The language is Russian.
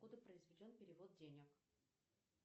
откуда произведен перевод денег